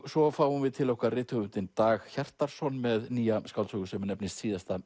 svo fáum við til okkar rithöfundinn Dag Hjartarson með nýja skáldsögu sem nefnist síðasta